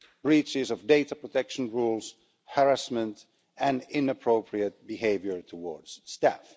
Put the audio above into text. breaches of data protection rules, harassment and inappropriate behaviour towards staff